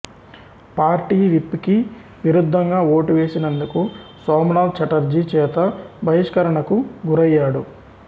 party whip కి విరుద్దంగా vote వేసినందుకు సోమనాథ్ చటర్జీ చేత బహిష్కరణకు గురయ్యాడు